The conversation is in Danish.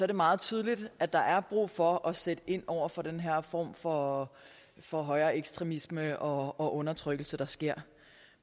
det meget tydeligt at der er brug for at sætte ind over for den her form for for højeekstremisme og og undertrykkelse der sker